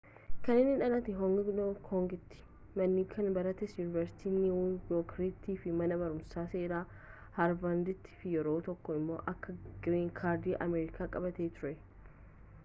kan inni dhalate hong kongiti ma'n kan baratte yuuniversitii niiwu yoorkiti fi mana barumsa seera harvarditi fi yeroo tokko immo akka green card ameerikaa qabaate ture